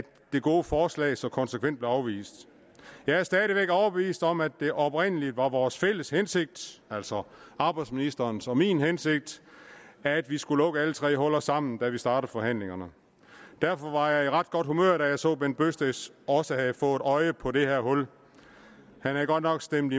det gode forslag så konsekvent blev afvist jeg er stadig væk overbevist om at det oprindelig var vores fælles hensigt altså arbejdsministerens og min hensigt at vi skulle lukke alle tre huller sammen da vi startede forhandlingerne derfor var jeg i ret godt humør da jeg så bent bøgsted også havde fået øje på det her hul han havde godt nok stemt